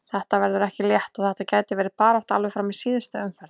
Þetta verður ekki létt og þetta gæti verið barátta alveg fram í síðustu umferð.